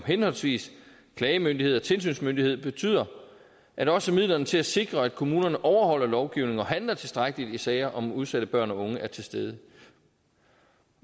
henholdsvis klagemyndighed og tilsynsmyndighed betyder at også midlerne til at sikre at kommunerne overholder lovgivningen og handler tilstrækkeligt i sager om udsatte børn og unge er til stede